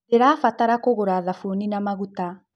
Ndĩrabatara kũgũra thabũni na magũta